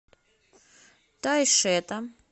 тайшета